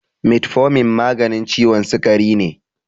Metformin maganin ciwon sikari ne.